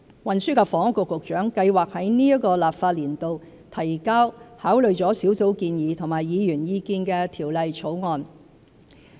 運輸及房屋局局長計劃在今個立法年度提交考慮了小組建議及議員意見的條例草案。